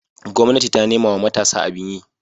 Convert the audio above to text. gwamnati ta nemawa matasa abin yi